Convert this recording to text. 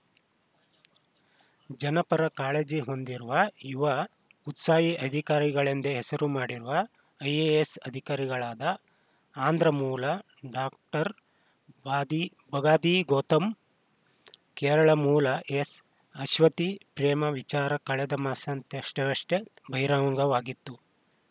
ಜನಪರ ಕಾಳಜಿ ಹೊಂದಿರುವ ಯುವ ಉತ್ಸಾಹಿ ಅಧಿಕಾರಿಗಳೆಂದೇ ಹೆಸರು ಮಾಡಿರುವ ಐಎಎಸ್‌ ಅಧಿಕಾರಿಗಳಾದ ಆಂಧ್ರ ಮೂಲ ಡಾಕ್ಟರ್ ಬದಿ ಬಗಾದಿ ಗೌತಮ್‌ ಹಾಗೂ ಕೇರಳ ಮೂಲದ ಎಸ್‌ಅಶ್ವತಿ ಪ್ರೇಮ ವಿಚಾರ ಕಳೆದ ಮಾಸಾಂತ್ಯವಷ್ಟೇ ಬಹಿರಂಗವಾಗಿತ್ತು